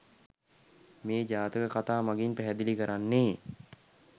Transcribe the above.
මේ ජාතක කතා මගින් පැහැදිලි කරන්නේ